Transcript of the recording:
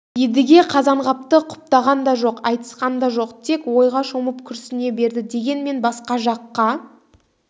едіге қазанғапты құптаған да жоқ айтысқан да жоқ тек ойға шомып күрсіне берді дегенмен басқа жаққа